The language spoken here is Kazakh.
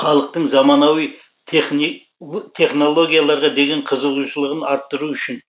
халықтың заманауи технологияларға деген қызығушылығын арттыру үшін